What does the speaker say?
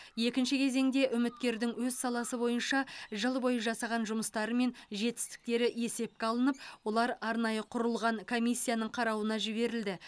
екінші кезеңде үміткердің өз саласы бойынша жыл бойы жасаған жұмыстары мен жетістіктері есепке алынып олар арнайы құрылған комиссияның қарауына жіберілді